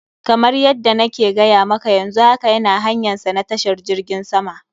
Kamar yadda na ke gaya maka, yanzu haka yana hanyansa na tashar jirgin sama.